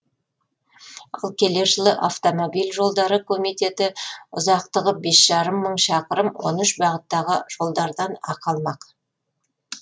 ал келер жылы автомобиль жолдары комитеті ұзақтығы бес жарым мың шақырым он үш бағыттағы жолдардан ақы алмақ